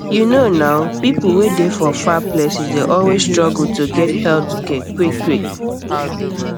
you know nah people um wey dey for far places dey always struggle to get health care quickquick